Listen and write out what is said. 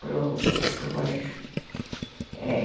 para para o colégio, é...